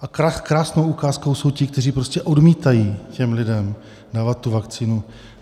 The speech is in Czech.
A krásnou ukázkou jsou ti, kteří prostě odmítají těm lidem dávat tu vakcínu.